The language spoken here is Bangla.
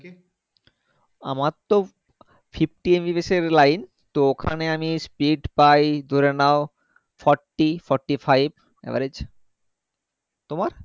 আমারতো fifty MBPS এর line তো ওখানে আমি speed পাই ধরে নাও forty fourty-five average তোমার